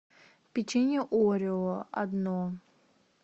печенье орео одно